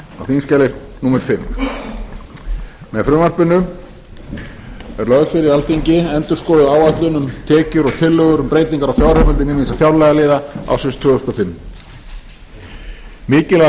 á þingskjali fimmta með frumvarpinu er lögð fyrir alþingi endurskoðuð áætlun um tekjur og tillögur um breytingar á fjáraukalögum ýmissa fjárlagaliða ársins tvö þúsund og fimm mikilvæg breyting